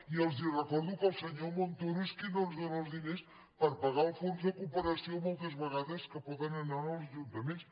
i els recordo que el senyor montoro és qui no ens dóna els di ners per pagar el fons de cooperació moltes vegades que poden anar als ajuntaments